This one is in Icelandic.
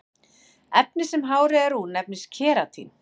efnið sem hárið er úr nefnist keratín